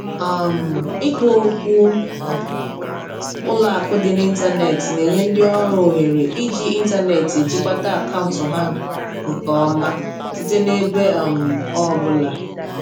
um Ikpokwu ụlọakụ dị n'ịntanetị na-enye ndị ọrụ ohere iji ịntanetị ejikwata akaụntụ ha nke ha nke ọma site n'ebe um ọ bụla.